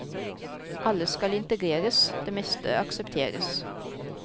Alle skal integreres, det meste aksepteres.